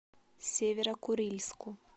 северо курильску